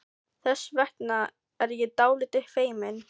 Þess vegna er ég dálítið feimin.